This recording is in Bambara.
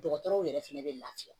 Dɔgɔtɔrɔw yɛrɛ fɛnɛ bɛ lafiya